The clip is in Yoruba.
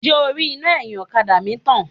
Ǹjẹ́ o rí iná ẹ̀yìn ọ̀kadà mi tàn?